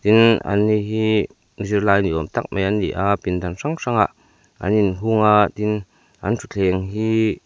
an ni hi zirlai ni awm tak mai an ni a pindan hrang hrangah an in hung a tin an thuthleng hi--